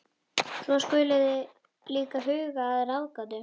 Svo þið skuluð líka huga að ráðgátu.